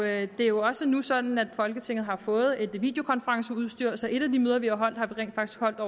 er jo også nu sådan at folketinget har fået videokonferenceudstyr så et af de møder vi har holdt har vi rent faktisk holdt